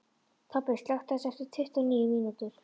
Tobbi, slökktu á þessu eftir tuttugu og níu mínútur.